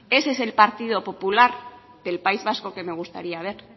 ese es el partido popular del país vasco que me gustaría ver